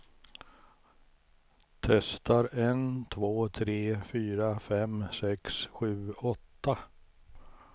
Testar en två tre fyra fem sex sju åtta.